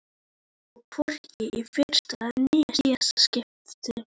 Og hvorki í fyrsta né síðasta skipti.